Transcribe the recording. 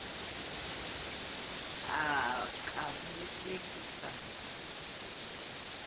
a ka be a sa